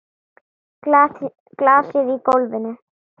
Glasið í gólfið.